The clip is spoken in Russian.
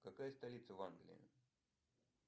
какая столица в англии